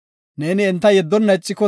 Neeni enta yeddonna ixiko,